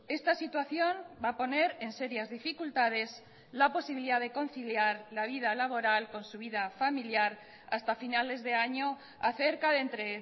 esta situación va a poner en serias dificultades la posibilidad de conciliar la vida laboral con su vida familiar hasta finales de año a cerca de entre